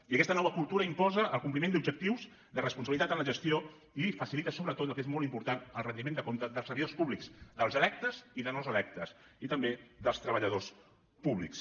i aquesta nova cultura imposa el compliment d’objectius de responsabilitat en la gestió i facilita sobretot el que és molt important el rendiment de comptes dels servidors públics dels electes i dels no electes i també dels treballadors públics